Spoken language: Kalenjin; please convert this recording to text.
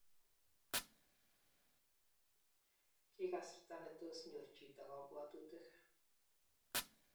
Ki kasarta nitoos nyor chito kabwatutik